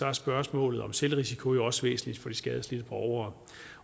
er spørgsmålet om selvrisiko jo også væsentligt for de skadelidte borgere